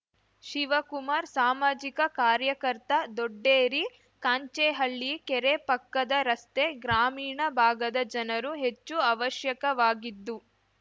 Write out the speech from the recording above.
ಶಿವಕುಮಾರ್‌ ಸಾಮಾಜಿಕ ಕಾರ್ಯಕರ್ತ ದೊಡ್ಡೇರಿ ಕಾಂಚೇಹಳ್ಳಿ ಕೆರೆ ಪಕ್ಕದ ರಸ್ತೆ ಗ್ರಾಮೀಣ ಭಾಗದ ಜನರು ಹೆಚ್ಚು ಅವಶ್ಯಕವಾಗಿದ್ದು